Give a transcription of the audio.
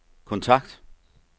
kontakt